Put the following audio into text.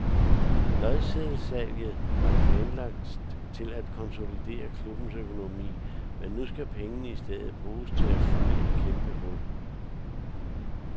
Lodseddelsalget var planlagt til at konsolidere klubbens økonomi, men nu skal pengene i stedet bruges til at fylde et kæmpe hul.